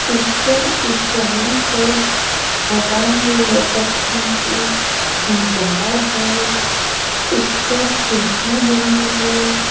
ऊपर ऊँचाई पर हवा में लटकती हुई दीवार है। उस पर खिड़की बनी है।